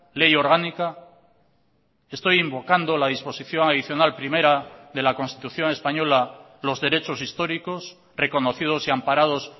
ley orgánica estoy invocando la disposición adicional primera de la constitución española los derechos históricos reconocidos y amparados